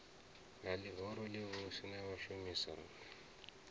ha ḽihoro ḽivhusi na vhashumisani